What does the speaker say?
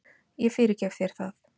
Ég fyrirgef þér það.